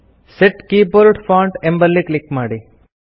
set keyboard font ಎಂಬಲ್ಲಿ click ಮಾಡಿ